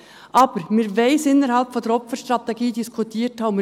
Aber: Wir wollen es innerhalb der Opferstrategie diskutiert haben.